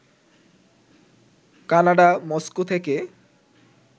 Canada Moscow থেকে